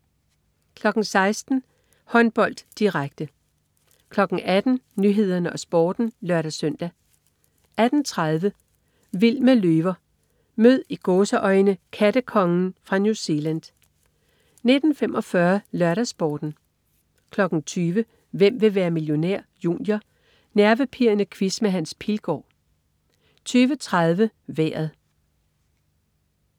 16.00 Håndbold, direkte 18.00 Nyhederne og Sporten (lør-søn) 18.30 Vild med løver. Mød "kattekongen" fra New Zealand 19.45 LørdagsSporten 20.00 Hvem vil være millionær? Junior. Nervepirrende quiz med Hans Pilgaard 20.30 Vejret